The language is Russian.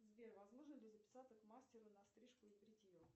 сбер возможно ли записаться к мастеру на стрижку и бритье